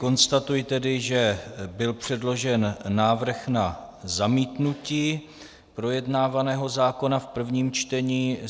Konstatuji tedy, že byl předložen návrh na zamítnutí projednávaného zákona v prvním čtení.